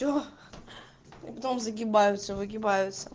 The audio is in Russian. все дом загибаются выгибаются